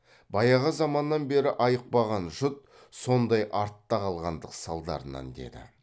баяғы заманнан бері айықпаған жұт сондай артта қалғандық салдарынан деді